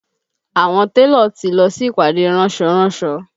Àwọn télọ̀ ti lọ sí ìpàdé ránsọ ránsọ